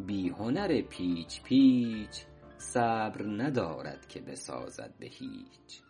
بی هنر پیچ پیچ صبر ندارد که بسازد به هیچ